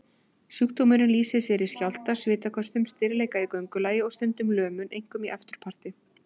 Sjúkdómurinn lýsir sér í skjálfta, svitaköstum, stirðleika í göngulagi og stundum lömun, einkum í afturparti.